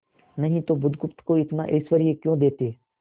नहीं तो बुधगुप्त को इतना ऐश्वर्य क्यों देते